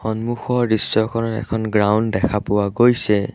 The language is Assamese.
সন্মুখৰ দৃশ্যখনত এখন গ্ৰাউণ্ড দেখা পোৱা গৈছে।